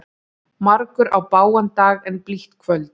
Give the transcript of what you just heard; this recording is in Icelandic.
Margur á bágan dag en blítt kvöld.